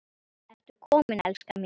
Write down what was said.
Ertu kominn, elskan mín?